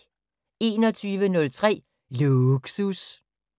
21:03: Lågsus